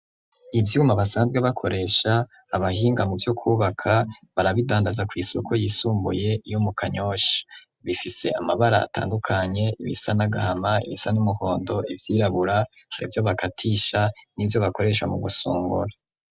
Ivyuma basanzwe bakoresha abahinga mu byo kubaka barabidandaza ku isoko yisumbuye yo mu kanyoshi bifise amabara atandukanye ibisa n'agahama ibisa n'umuhondo ivyirabura hari byo bakatisha n'ibyo bakoresha mu gusungura.